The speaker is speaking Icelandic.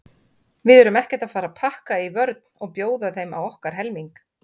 Við erum ekkert að fara að pakka í vörn og bjóða þeim á okkar helming.